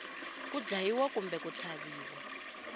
ku dlayiwa kumbe ku tlhaviwa